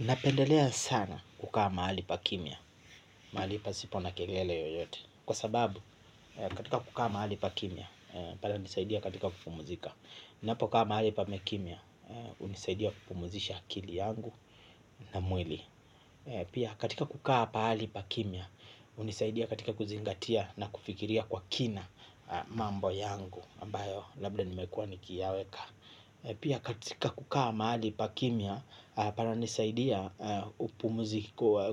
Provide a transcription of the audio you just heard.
Napendelea sana kukaa mahali pa kimya, mahali pasipo na kelele yoyote kwa sababu katika kukaa mahali pa kimya pale hunisaidia katika kupumzika ninapo kaa mahali pame kimya, hunisaidia kupumzisha akili yangu na mwili. Pia katika kukaa pahali pa kimya, hunisaidia katika kuzingatia na kufikiria kwa kina mambo yangu ambayo labda nimekuwa nikiyaweka. Pia katika kukaa mahali pa kimya, pana nisaidia